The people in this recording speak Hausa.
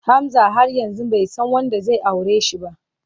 Hamza har yanzu bai san wanda zai aure shi ba.